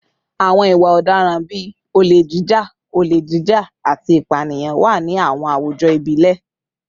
Àwọn ìwà ọ̀daràn bíi olè jíjà, olè jíjà, àti ìpànìyàn wà ní àwọn àwùjọ ìbílẹ̀